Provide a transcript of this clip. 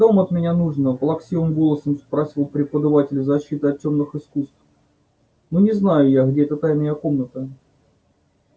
что вам от меня нужно плаксивым голосом спросил преподаватель защиты от тёмных искусств ну не знаю я где эта тайная комната